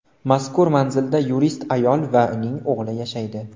Mazkur manzilda yurist ayol va uning o‘g‘li yashaydi.